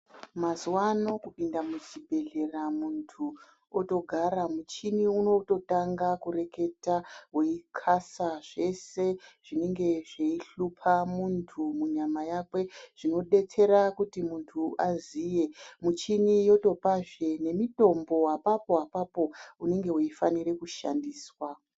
Mazuvano kupinda muzvibhedhlera muntu otogara muchini unototanga kureketa weikhasa zveshe zvinenge zveishupa muntu munyama yakwe zvinodetsera kuti munhu aziya ,muchini yotopazve nemitombo apapo apapo inenge yeida kushandiswa.